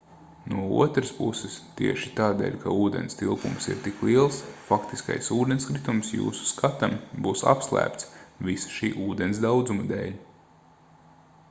no otras puses tieši tādēļ ka ūdens tilpums ir tik liels faktiskais ūdenskritums jūsu skatam būs apslēpts visa šī ūdens daudzuma dēļ